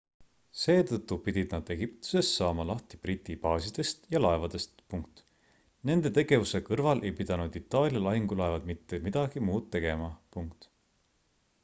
seetõttu pidid nad egiptuses saama lahti briti baasidest ja laevadest nende tegevuse kõrval ei pidanud itaalia lahingulaevad mitte midagi muud tegema